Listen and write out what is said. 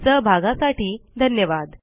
सहभागासाठी धन्यवाद